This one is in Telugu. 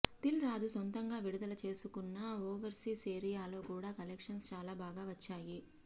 దిల్ రాజు సొంతంగా విడుదల చేసుకున్న ఓవర్సీస్ ఏరియాలో కూడా కలెక్షన్స్ చాలా బాగా వచ్చాయి